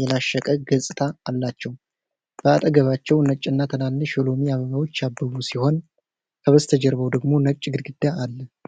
የላሸቀ ገጽታ አላቸው። በአጠገባቸው ነጭና ትናንሽ የሎሚ አበባዎች ያበቡ ሲሆን፣ ከበስተጀርባው ደግሞ ነጭ ግድግዳ አለ።